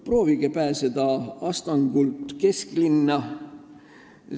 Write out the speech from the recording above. Proovige pääseda Astangult kesklinna!